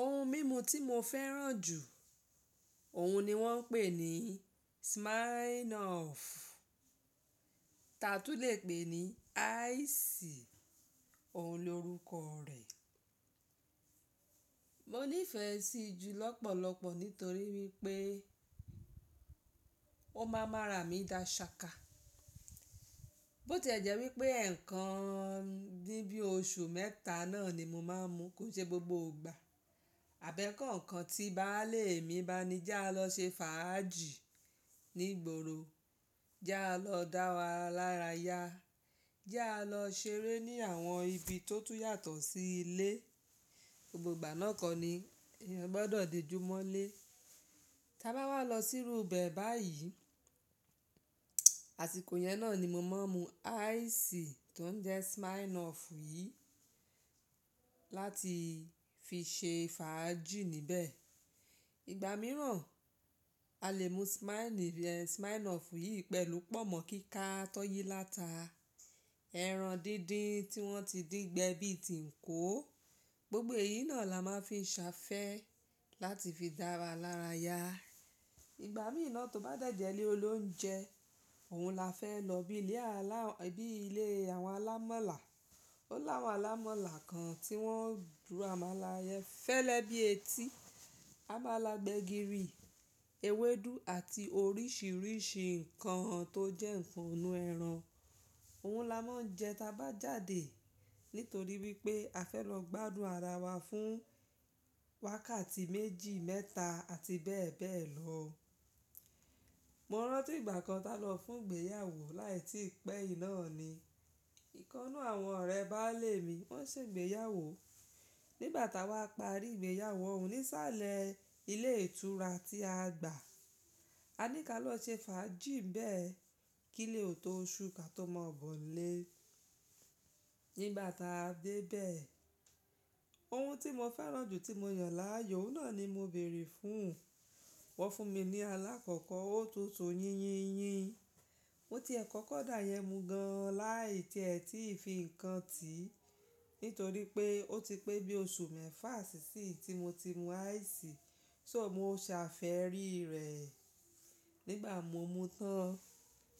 Ohun mímu tí mo fẹ́ràn jù, òhun ni wọ́n ń pè ní Smirnoff, tàa tú n lè pè ní ice, òhun lorúkọ rẹ̀. Mo nífẹ̀ẹ́ sí i ju lọ́pọ̀lọpọ̀ nítorí wípé ó máa ń ma rà mí dá ṣaka. Bó tí ẹ̀ jẹ́ wípé ẹ̀ẹ̀kan ní bí oṣù mẹ́ta náà ni mo máa ń mu kó n ṣe gbogbo ìgbà. Àbẹ́ kọ̀ọ̀kan tí baálè mi bá ní já lọ ṣe fàájì ní ìgboro, já lọ dára wà lára yá, já lọ ṣeré ní àwọn ibi tó tún yàtọ̀ sí ilé. Gbogbo ìgbà náà kọ́ ní èyán gbọ́dọ̀ dé jumọ́ lé. Tí a bá wá lọ sí irú bẹ báyìí, àsìkò yẹn náà ni mo máa ń mu ice tó ń jẹ́ Smirnoff yìí láti fi ṣe fàájì níbẹ̀. Ìgbà mìíràn a lè mu Smirnoff yìí pẹ̀lú pọ̀nmọ́ kíká tó yí láta, ẹran díndín tí wọ́n ti dín gbẹ bí tíǹkó. Gbogbo èyí náà la máa ń fi ṣafẹ́ láti fi dára lára yá. Ìgbà míí náà tó bá dẹ̀jẹ̀ ilé olóunjẹ, òun la fẹ́ lọ bí ilé àwọn alámalà. Ó láwọn alámalà kan tí wọ́n ro ámàla fẹ́lẹ́ bíi etí, àmàlà gbẹ̀gìrì, ewédú àti oríṣiríṣi nǹkan tó jẹ́ ǹkan inú ẹran. Òun la máa ń jẹ ta bá jáde, nítorí wípé a fẹ́ lọ gbádùn ara wa fún wákàtí méjì, mẹ́ta àti bẹ́ẹ̀bẹ́ẹ̀ lọ. Mo rántí ìgbà kan táa lọ fún ìgbéyàwó láì tí pé yìí náà ni. Ìkan nu àwọn ọ̀rẹ́ baálè mi wọ́n ṣe ìgbéyàwó. Ni ìgbà táwá parí ìgbéyàwó ohùn ní sàlẹ́ ilé ìtura tí a gbà, a ní kí a lọ ṣe fàájì nbẹ̀. Kí lé ò tóṣù kí a tó mọbọ̀ lé. Ni ìgbà táa dé bẹ̀, ohun tí mo fẹ́ràn jù tí mo yàn láàyò oun náà ni mo bèèrè fún. Wọ́n fún mi ní alákọ̀ọ́kọ́ òtútù yínyin yín. Mọ ti ẹ̀ kọ́kọ́ dà yẹ́ mu gan an láì tíè tí fi kan tì. Nítorí pé ó ti pé bí oṣù mẹ́fa sí sì yin tí mo ti mu ice, so mọ ṣàfẹ́rí rẹ̀ nígbà mo mu tán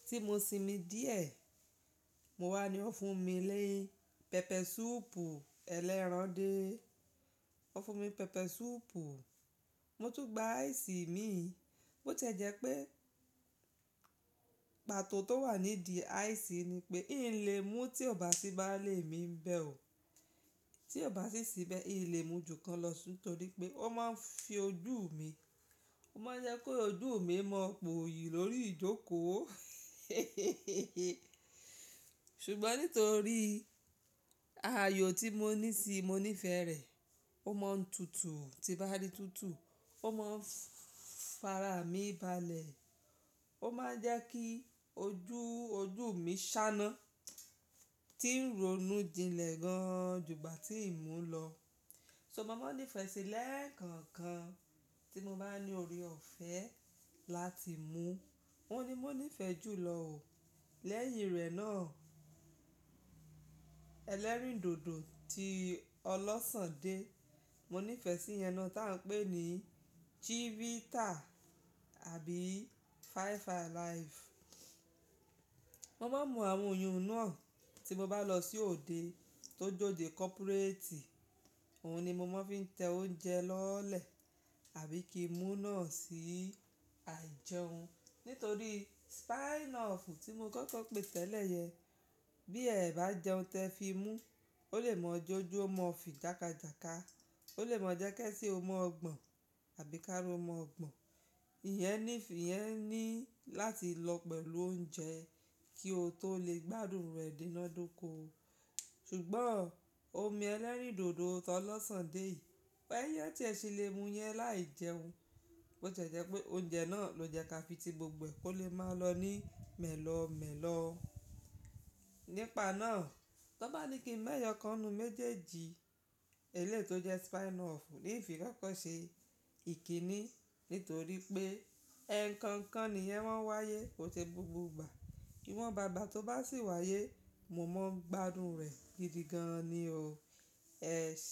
tí mọ sinmi díẹ̀. Mo wá ni wọ́n fún mi lé pẹpẹ súùpù ẹlẹ́ran dé. Wọ́n fún mi pẹpẹ súùpù, mo tún gba ice mi. Ó ti jẹ́ pé pàtó tó wà nídì ice ni pé ń le mú tí ọ̀bá sí baálè mi ń bẹ ò. Tí ọ̀bá sí sì bẹ, n lè mu jù kan lọ, nítorí pé ó máa ń fi ojú mi, ó máa ń jẹ́ kó ojú mi mọ̀ poyì lórí ìjókò. Ṣùgbọ́n nítorí ààyò tí mo ní síi, mo nífẹ̀ẹ́ rẹ̀. Ó máa ń tutù tí bá rí tútù, ó máa ń fara mì balẹ̀. Ó máa ń jẹ́ kí ojú ojú mi ṣáná tí ń ronú jinlẹ̀ gan an jú gbà tí ìmú lọ. So mọ máa ń nífẹ̀ẹ́ síi lẹ́ẹ̀kan kan tí mo bá ní orí ọ̀fẹ́ láti mú. Òun ni mo nífẹ̀ẹ́ jù lọ ò lẹ́yìn rẹ̀ náà, ẹlẹ́rìndòdò tí ọlọ́sàn dé, mo nífẹ̀ẹ́ sí yẹn náà, tí à ń pè ní Chivita àbí Five Alive. Mọ máa ń mu àwọn oyu ún náà tí mọ bá lọ sí òde tó jòde kọ́púréètì. Òun ni mo máa ń fi ń tẹ oúnjẹ lọ́lẹ̀ àbí kí mú náà sí à jẹun. Nítorí Smirnoff tí mo kọ́kọ́ pè tẹ́lẹ̀ yẹn, bí ẹ bá jẹun tẹ fi mú, ó lè mọ́ jójú ó mọ́ fi jákájàká. Ó lè mọ́ jẹ́ki ẹsẹ ó mọ́ gbọ̀n àbí kára ó mọ́ gbọ̀n. Ìyẹn ní, ìyẹn ní láti lọ pẹ̀lú oúnjẹ kí o tó lè gbádùn rẹ̀ dínádoko. Ṣùgbọ́n, omi ẹlẹ́rìndòdò tọlọ́sàn dé yìí, pé ẹ tí ẹ ṣe lè mú yẹn láìjẹun. Ó tiẹ jẹ́ pé oúnjẹ náà ló jẹ́ ká fi ti gbogbo ẹ kó lè máa lọ ní mẹ́lọ́ọ́ mẹ́lọ́ọ́. Nípa náà, tó bá ní kí mẹ́ẹ̀yọ̀ọ̀kan nínú méjèèjì eléyìí tó jẹ́ Smirnoff, n fi kọ́kọ́ ṣe ìkíni. Nítorí pé ẹ̀ẹ̀kan kan nìyẹn máa ń wáyé kò ṣe gbogbo ìgbà. Ìwọ̀nba ìgbà tó bá ṣì wáyé, mo máa ń gbádùn rẹ̀ gidi gan an ni o. Ẹ̀ ṣeun.